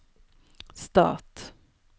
stat